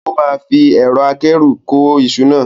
O máa fi ẹ̀rọ akẹ́rù kó iṣu náà.